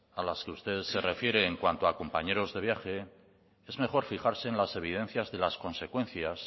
a las que usted se refiere en cuanto a compañeros de viaje es mejor fijarse en las evidencias de las consecuencias